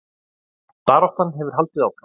Baráttan hefur haldið áfram